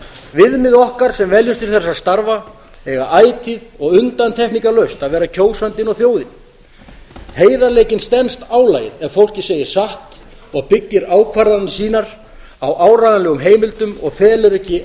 viðmið okkar sem veljumst til þessara starfa eiga ætíð og undantekningalaust að vera kjósandinn og þjóðin heiðarleikinn stenst álagið ef fólkið segir satt og byggir ákvarðanir sínar á áreiðanlegum heimildum og felur ekki